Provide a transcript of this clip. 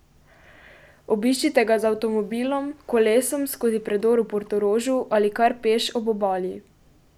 Obiščite ga z avtomobilom, kolesom skozi predor v Portorožu ali kar peš ob obali.